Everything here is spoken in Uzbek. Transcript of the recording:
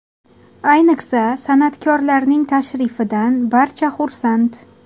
Ayniqsa, san’atkorlarning tashrifidan barcha xursand.